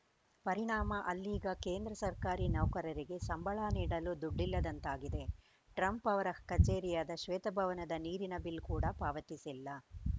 ಪರಿಣಾಮ ಅಲ್ಲೀಗ ಕೇಂದ್ರ ಸರ್ಕಾರಿ ನೌಕರರಿಗೆ ಸಂಬಳ ನೀಡಲೂ ದುಡ್ಡಿಲ್ಲದಂತಾಗಿದೆ ಟ್ರಂಪ್‌ ಅವರ ಕಚೇರಿಯಾದ ಶ್ವೇತಭವನದ ನೀರಿನ ಬಿಲ್‌ ಕೂಡ ಪಾವತಿಸಿಲ್ಲ